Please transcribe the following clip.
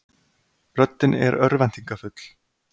Röddin er örvæntingarfull.